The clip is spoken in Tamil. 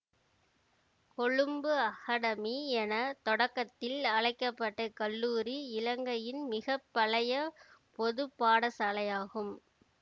கொழும்பு அகடெமி என தொடக்கத்தில் அழைக்க பட்ட இக்கல்லூரி இலங்கையின் மிக பழைய பொது பாடசாலையாகும்